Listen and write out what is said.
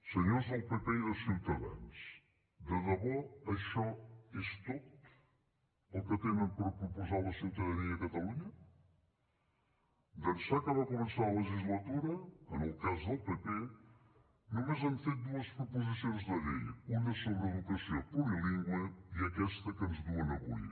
senyors del pp i de ciutadans de debò això és tot el que tenen per proposar a la ciutadania de catalunya d’ençà que va començar la legislatura en el cas del pp només han fet dues proposicions de llei una sobre educació plurilingüe i aquesta que ens duen avui